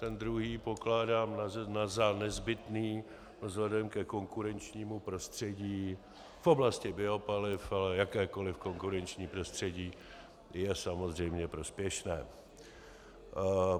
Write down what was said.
Ten druhý pokládám za nezbytný vzhledem ke konkurenčnímu prostředí v oblasti biopaliv, ale jakékoliv konkurenční prostředí je samozřejmě prospěšné.